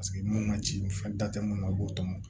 Paseke mun ma ci fɛn da te mun na u b'o tɔmɔ